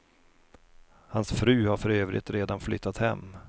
Hans fru har för övrigt redan flyttat hem.